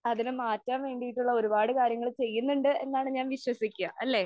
അതിനെ മാറ്റാൻ വേണ്ടിയിട്ടുള്ള ഒരുപാട് കാര്യങ്ങള് ചെയ്യുന്നുണ്ട് എന്നാണ് ഞാൻ വിശ്വസിക്കാ അല്ലേ?